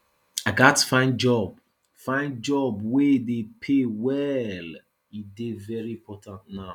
i gats find job find job wey dey pay well e dey very important now